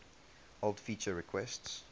old feature requests